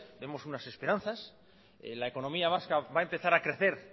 vemos unas esperanzas la economía vasca va a empezar a crecer